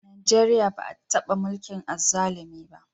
Najeriya ba a taba mulkin azzalumi ba.